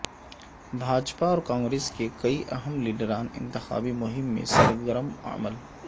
بھاجپا اور کانگریس کے کئی اہم لیڈران انتخابی مہم میں سرگر م عمل